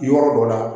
Yɔrɔ dɔ la